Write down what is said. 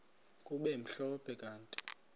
kube mhlophe kanti